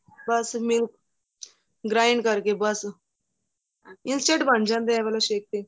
ਬੱਸ milk grind ਕਰਕੇ ਬੱਸ es ant ਬਣ ਜਾਂਦਾ ਏਹ ਵਾਲਾ shake ਤਾਂ